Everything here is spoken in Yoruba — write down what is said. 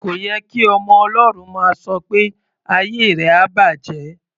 Kò ye kí ọmọ Ọlọ́run máa sọ pé "ayé rẹ á bàjẹ́".